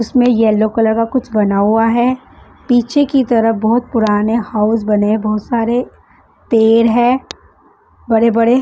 उसमें yellow colour का कुछ बना हुआ है पीछे की तरफ बहुत पुराने हाउस बने बहुत सारे पेड़ है बड़े-बड़े --